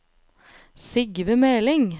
Sigve Meling